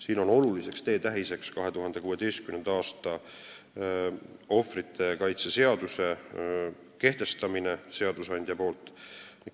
Siin on oluliseks teetähiseks 2016. aastal seadusandja poolt ohvrite kaitse seaduses sätestamine.